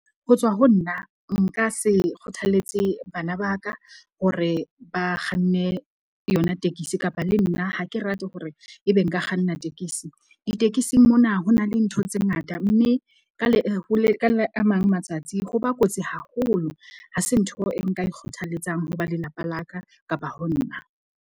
Ho tswa ho nna, nka se kgothalletse bana ba ka hore ba kganne yona tekesi, kapa le nna ha ke rate hore ebe nka kganna tekesi. Ditekesing mona ho na le ntho tse ngata, mme ka le a mang matsatsi ha ba kotsi haholo. Ha se ntho e nka e kgothaletsang ho ba lelapa la ka kapa ho nna.